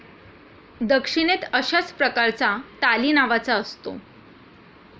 दक्षिणेत अशाच प्रकाराचा ताली नावाचा असतो.